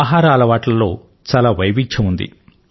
ఆహార అలవాట్లలో చాలా వైవిధ్యం ఉంది